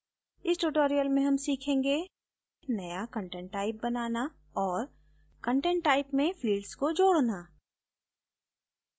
इस tutorial में हम सीखेंगे नया content type बनाना और content type में फिल्ड्स को जोडना